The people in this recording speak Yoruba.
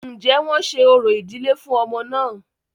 Ǹjẹ́ wọ́n ṣe orò ìdílé fún ọmọ náà?